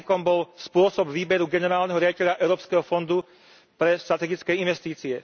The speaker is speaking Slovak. Rizikom bol spôsob výberu generálneho riaditeľa Európskeho fondu pre strategické investície.